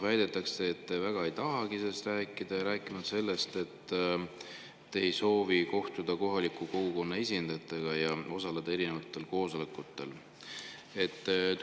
Väidetakse, et te väga ei tahagi sellest rääkida, ja on räägitud, et te ei soovi kohtuda kohaliku kogukonna esindajatega ja koosolekutel osaleda.